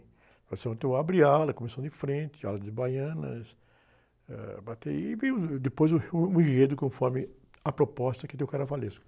Escola de Samba tem o abre alas, a comissão de frente, ala de baianas, ãh, a bateria, e vem o, depois uh, o enredo conforme a proposta que tem o carnavalesco.